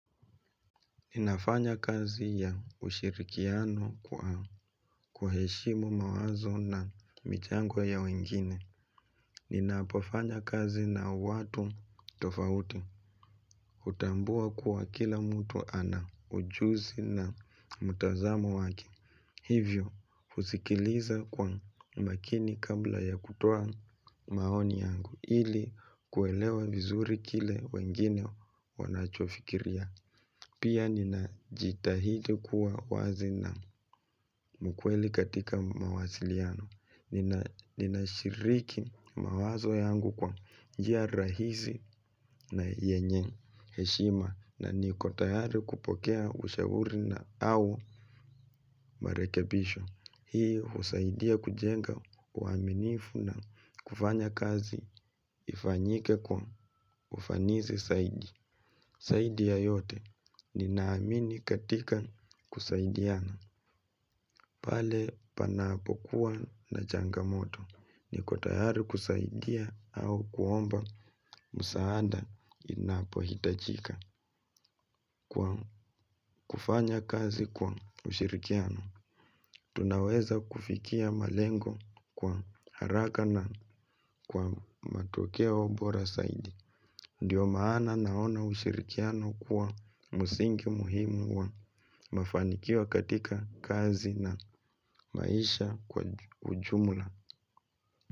Ninafanya kazi ya ushirikiano kwa kuwaeshimu mawazo na michango ya wengine. Ninapofanya kazi na watu tofauti utambua kuwa kila mtu ana ujuzi na mtazamo wake. Hivyo, usikiliza kwa umakini kabla ya kutoa maoni yangu ili kuelewa vizuri kile wengine wanachofikiria. Pia ninajitahidi kuwa wazi na mkweli katika mawasiliano. Ninashiriki mawazo yangu kwa njia rahisi na yenye heshima na niko tayari kupokea ushauri na au marekebisho. Hii husaidia kujenga uaminifu na kufanya kazi ifanyike kwa ufanisi saidi. Saidi ya yote ninaamini katika kusaidiana. Pale panapokuwa na changamoto niko tayari kusaidia au kuomba msaada inapohitajika. Kwa kufanya kazi kwa ushirikiano tunaweza kufikia malengo kwa haraka na kwa matokeo bora saidi. Ndiyo maana naona ushirikiano kuwa musingi muhimu wa mafanikio katika kazi na maisha kwa ujumula.